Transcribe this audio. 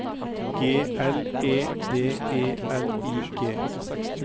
G L E D E L I G